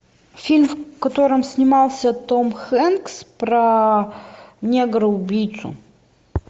фильм в котором снимался том хэнкс про негра убийцу